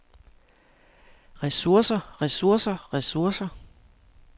ressourcer ressourcer ressourcer